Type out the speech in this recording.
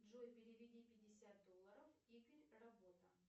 джой переведи пятьдесят долларов игорь работа